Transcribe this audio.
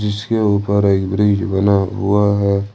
इसके ऊपर एक ब्रिज बना हुआ है।